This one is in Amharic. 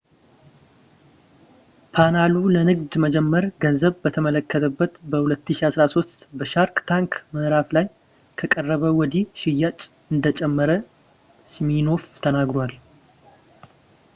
ፓናሉ ለንግድ መጀመር ገንዘብ በተከለከለበት በ2013 በሻርክ ታንክ ምዕራፍ ላይ ከቀረበ ወዲህ ሽያጭ እንደጨመረ ሲሚኖፍ ተነግሯል